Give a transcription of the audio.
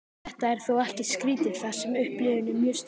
þetta er þó ekkert skrítið þar sem upplifunin er mjög sterk